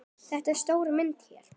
Þetta er stóra myndin hér.